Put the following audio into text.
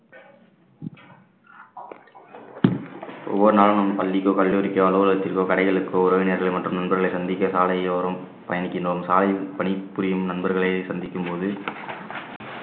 ஒவ்வொரு நாளும் நம் பள்ளிக்கோ கல்லூரிக்கோ, அலுவலகத்திற்கோ, கடைகளுக்கோ, உறவினர்கள் மற்றும் நண்பர்களை சந்திக்க சாலையோரம் பயணிக்கின்றோம். சாலை பணிபுரியும் நண்பர்களை சந்திக்கும்போது